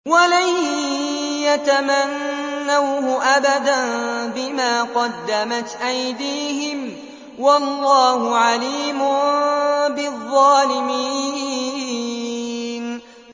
وَلَن يَتَمَنَّوْهُ أَبَدًا بِمَا قَدَّمَتْ أَيْدِيهِمْ ۗ وَاللَّهُ عَلِيمٌ بِالظَّالِمِينَ